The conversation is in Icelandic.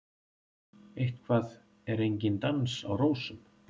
Eitthvað er enginn dans á rósum